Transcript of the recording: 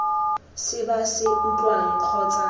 se ba se utlwang kgotsa